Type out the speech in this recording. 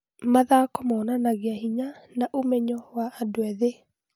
Mathako monanagia hinya na ũmenyo wa andũ ethĩ.